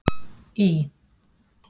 Í